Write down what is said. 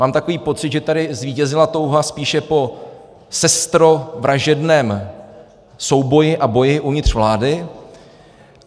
Mám takový pocit, že tady zvítězila touha spíše po sestrovražedném souboji a boji uvnitř vlády.